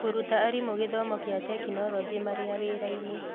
Kũruta arimũ gĩthomo kĩa tekinolonjĩ marĩa wĩra-inĩ.